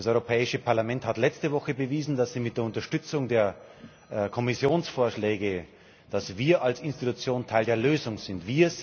Das Europäische Parlament hat letzte Woche bewiesen, dass wir mit der Unterstützung der Kommissionsvorschläge, dass wir als Institution Teil der Lösung sind.